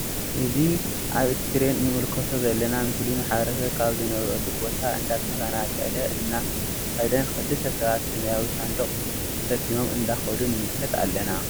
እዚ ኣብ እስክሪን እንምልከቶ ዘለ ምስሊ ማሕበረስብ ካብ ዝነብረሉ ቦታ እንዳተፈናቀለ እና ከደን ክልተ ሰባት ሰማያዊ ሳንዱቅ ተሸኪሞም እንዳከዱ ንምልከት ኣለና።